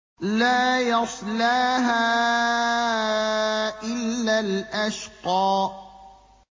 لَا يَصْلَاهَا إِلَّا الْأَشْقَى